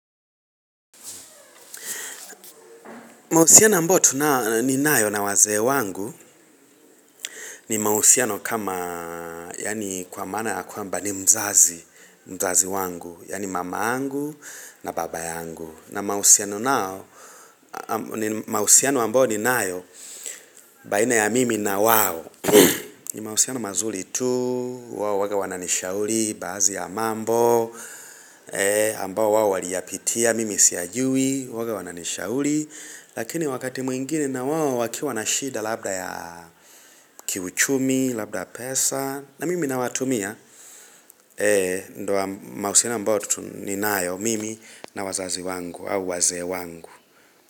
Mahusiano ambayo tunayo ninayo na wazee wangu ni mahusiano kama yaani kwa maana ya kwamba ni mzazi mzazi wangu yaani mama yangu na baba yangu na mahusiano nao ni mahusiano ambayo ninayo baina ya mimi na wao ni mahusiano mazuri tu wawe wananishauri baadhi ya mambo ambao wao waliyapitia mimi siyajui wao wananishauri Lakini wakati mwingine na wao wakiwa na shida labda ya kiuchumi, labda pesa na mimi nawatumia Ndio mahusiano ambayo ninayo mimi na wazazi wangu au wazee wangu.